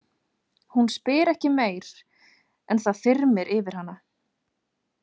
Hún spyr ekki meir, en það þyrmir yfir hana.